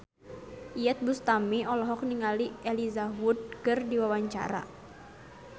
Iyeth Bustami olohok ningali Elijah Wood keur diwawancara